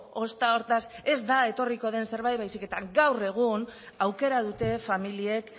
ozta hortaz ez da etorriko den zerbait baizik eta gaur egun aukera dute familiek